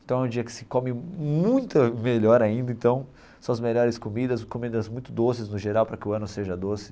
Então é um dia que se come muito melhor ainda, então são as melhores comidas, comidas muito doces no geral para que o ano seja doce.